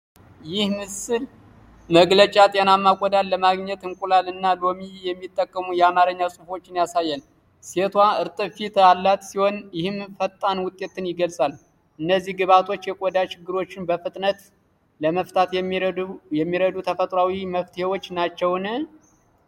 ይህ የምስል መግለጫ ጤናማ ቆዳን ለማግኘት እንቁላል እና ሎሚ የሚጠቁሙ የአማርኛ ጽሑፎችን ያሳያል። ሴቷ እርጥብ ፊት ያላት ሲሆን፣ ይህም ፈጣን ውጤትን ይገልጻል። እነዚህ ግብዓቶች የቆዳ ችግሮችን በፍጥነት ለመፍታት የሚረዱ ተፈጥሯዊ መፍትሄዎች ናቸውን?